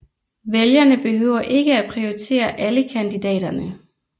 Vælgerne behøver ikke at prioritere alle kandidaterne